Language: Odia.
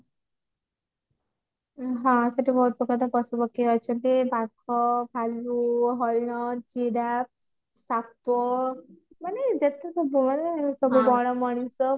ହଁ ସେଠି ବହୁତ ପ୍ରକାର ତ ପଶୁ ପକ୍ଷୀ ଅଛନ୍ତି ବାଘ ଭାଲୁ ହରିଣ ଜିରାଫ ସାପ ମାନେ ଯେତେ ସବୁ ମାନେ ବଣ ମଣିଷ